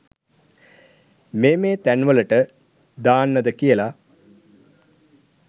මේ මේ තැන් වලට දාන්නද කියලා.